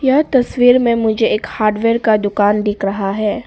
यह तस्वीर में मुझे एक हार्डवेयर का दुकान दिख रहा है।